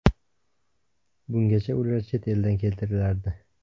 Bungacha ular chet eldan keltirilardi.